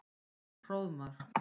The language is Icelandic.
Hróðmar